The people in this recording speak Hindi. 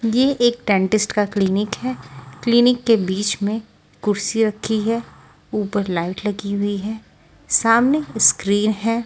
ये एक डेंटिस्ट का क्लीनिक है क्लीनिक के बीच में कुर्सी रखी है ऊपर लाइट लगी हुई है सामने स्क्रीन है।